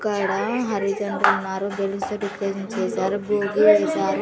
ఇక్కాడ హరిజనులు ఉన్నారు గెలిస్తే చేశారు చేశారు.